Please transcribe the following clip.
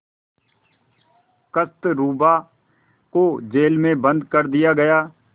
कस्तूरबा को जेल में बंद कर दिया गया